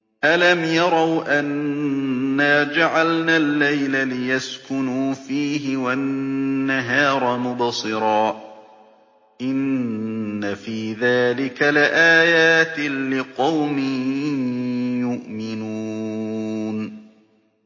أَلَمْ يَرَوْا أَنَّا جَعَلْنَا اللَّيْلَ لِيَسْكُنُوا فِيهِ وَالنَّهَارَ مُبْصِرًا ۚ إِنَّ فِي ذَٰلِكَ لَآيَاتٍ لِّقَوْمٍ يُؤْمِنُونَ